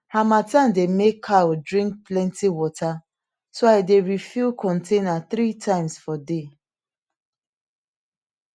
harmattan dey make cow drink plenty water so i dey refill container three times for day